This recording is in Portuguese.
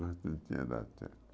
Não não tinha dado certo.